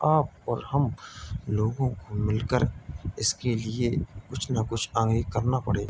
आप और हम लोगों को मिलकर इसके लिए कुछ न कुछ आगे करना पड़ेगा।